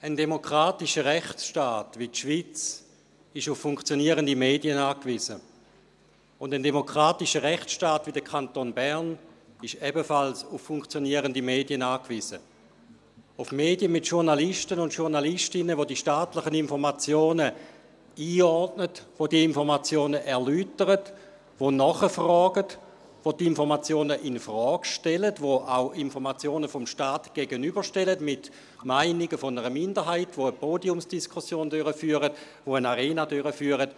Ein demokratischer Rechtsstaat wie die Schweiz ist auf funktionierende Medien angewiesen, und ein demokratischer Rechtsstaat wie der Kanton Bern ist ebenfalls auf funktionierende Medien angewiesen – auf Medien mit Journalisten und Journalistinnen, welche die staatlichen Informationen einordnen, diese Informationen erläutern, nachfragen und die Informationen infrage stellen und auch Informationen des Staats Meinungen einer Minderheit gegenüberstellen, dazu eine Podiumsdiskussion, eine «Arena» durchführen.